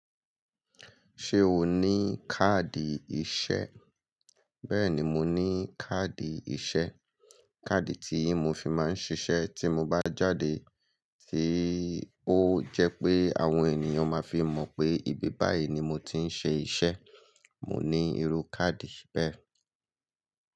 Ṣé o ní káàdì ìṣe? Bẹ́ẹ̀ni, mo ní káàdì ìṣe. Káàdì tíì mo fi máa ń ṣiṣẹ́ tí mo bá jáde, tí ó jẹ́ pé àwọn ènìyàn máa fi mọ̀ pé ibi báyìí ni mo ti ń ṣe iṣẹ́. Mo ní irú káàdì bẹ́ẹ̀